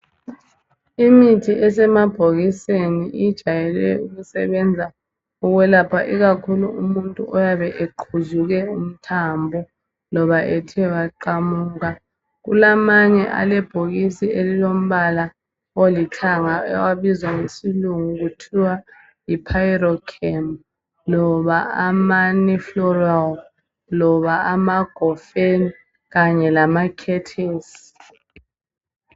Imithi esemabhokiseni ijayele ukusebenza ukwelapha ikakhulu umuntu oyabe eqhuzu umthambo loba ethe waqamuka , kulamanye alebhokisi elilombala olithaga abizwa ngesilungu kuthwa yi Pirocam loba ama Nifluril loba ama Gofen kanye lama Ketes